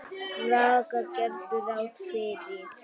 Braga gerðu ráð fyrir.